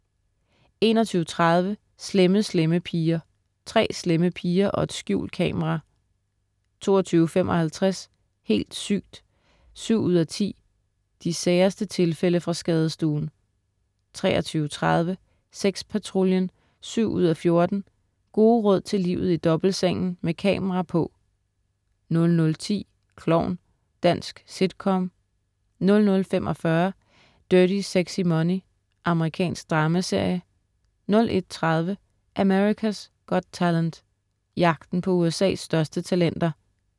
21.30 Slemme Slemme Piger. Tre slemme piger og et skjult kamera 22.55 Helt sygt! 7:10. De særeste tilfælde fra skadestuen 23.30 Sexpatruljen 7:14. Gode råd til livet i dobbeltsengen, med kamera på 00.10 Klovn. Dansk sitcom 00.45 Dirty Sexy Money. Amerikansk dramaserie 01.30 America's Got Talent. Jagten på USA's største talenter